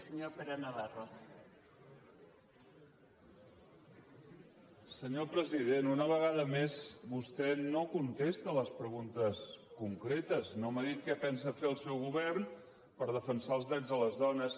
senyor president una vegada més vostè no contesta les preguntes concretes no m’ha dit què pensa fer el seu govern per defensar els drets de les dones